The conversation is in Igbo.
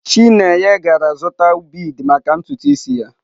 Chineye gara zụta bead maka ntutu isi ya.